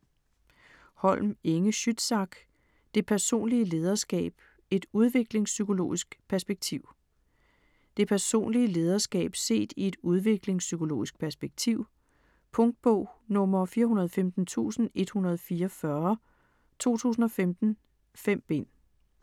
Holm, Inge Schützsack: Det personlige lederskab et udviklingspsykologisk perspektiv Det personlige lederskab set i et udviklingspsykologisk perspektiv. Punktbog 415144 2015. 5 bind.